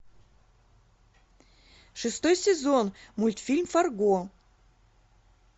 шестой сезон мультфильм фарго